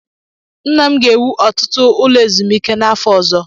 Nna m ga-ewu ọtụtụ ụlọ ezumike n'afọ ọzọ.